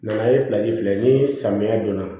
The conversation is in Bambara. Na ye filɛ ni samiya don na